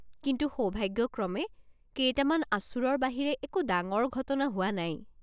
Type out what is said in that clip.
কিন্তু সৌভাগ্যক্ৰমে, কেইটামান আঁচোৰৰ বাহিৰে একো ডাঙৰ ঘটনা হোৱা নাই।